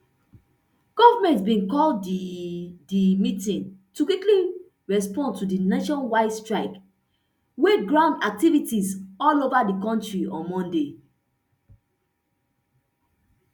goment bin call di di meeting to quickly respond to di nationwide strike wey ground activities all over di kontri on monday